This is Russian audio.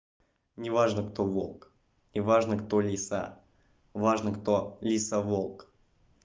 неважно кто волк неважно кто лиса важно кто лиса волк